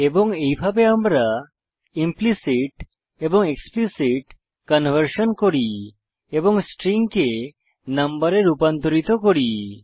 এবং এইভাবে আমরা ইমপ্লিসিট এবং এক্সপ্লিসিট কনভার্সন করি এবং স্ট্রিংকে নম্বরে রূপান্তরিত করি